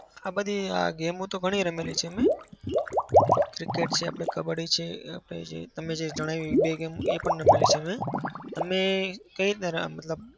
કબ્બડી હા game ઓ ઘણી રમેલી છે મેં. cricket છે. આપણે કબ્બડી આપણે જે તમે જણાવ્યું એ બે game એ પણ રમેલી છે મેં. અને કઈ રીતે અમ મતલબ